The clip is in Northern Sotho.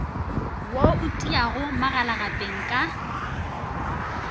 wo o tiago magalagapeng ka